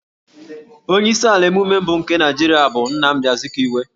Onye isi ala emume nke mbụ nke Naijirịa bụ Dọkịnta Nnamdi Azkiwe